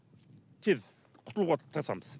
тез құтылуға тырысамыз